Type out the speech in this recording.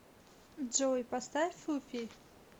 джой поставь фуфи